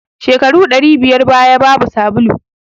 Shekaru ɗari biyar baya babu sabulu